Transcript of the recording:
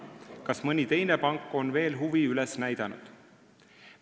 Kas mõni teine pank on veel huvi üles näidanud?